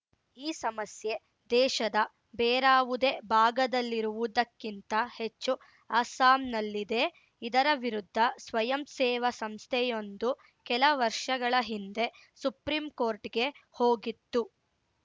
ಈ ಸಮಸ್ಯೆ ದೇಶದ ಬೇರಾವುದೇ ಭಾಗದಲ್ಲಿರುವುದಕ್ಕಿಂತ ಹೆಚ್ಚು ಅಸ್ಸಾಂನಲ್ಲಿದೆ ಇದರ ವಿರುದ್ಧ ಸ್ವಯಂ ಸೇವಾ ಸಂಸ್ಥೆಯೊಂದು ಕೆಲ ವರ್ಷಗಳ ಹಿಂದೆ ಸುಪ್ರೀಂಕೋರ್ಟ್‌ಗೆ ಹೋಗಿತ್ತು